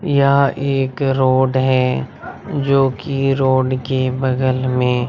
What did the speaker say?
यह एक रोड है जोकि रोड के बगल में--